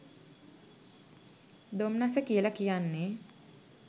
දොම්නස කියල කියන්නෙ